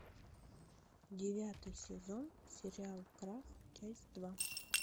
девятый сезон сериал крах часть два